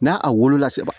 N'a a wolola sɛbɛ